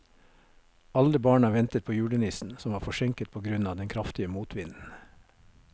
Alle barna ventet på julenissen, som var forsinket på grunn av den kraftige motvinden.